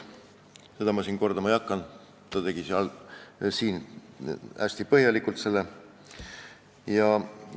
Seda ma kordama ei hakka, ta tegi siingi hästi põhjaliku ülevaate.